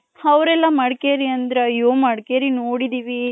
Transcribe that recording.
Hour ಎಲ್ಲಾ ಮಡಕೇರಿ ಅಂದ್ರು ಅಯೂ ಮಡಕೇರಿ ನೋಡಿದಿವಿ.